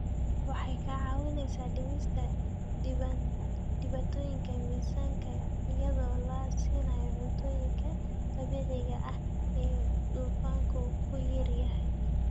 Waxay ka caawisaa dhimista dhibaatooyinka miisaanka iyadoo la siinayo cuntooyinka dabiiciga ah ee dufanku ku yar yahay.